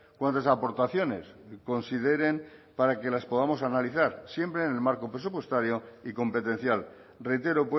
cuantas aportaciones consideren para que las podamos analizar siempre en el marco presupuestario y competencial reitero